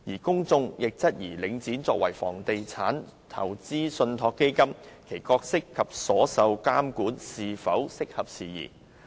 公眾亦質疑領展作為房地產投資信託基金，其角色及所受的監管是否適合時宜。